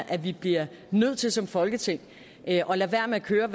at vi bliver nødt til som folketing at lade være med at køre